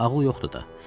Ağıl yoxdur da.